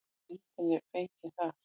Myndin er fengin þar.